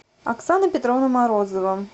оксана петровна морозова